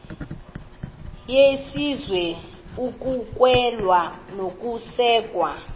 yesizwe ukwamkelwa nokusekwa